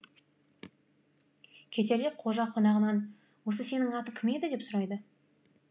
кетерде қожа қонағынан осы сенің атың кім еді деп сұрайды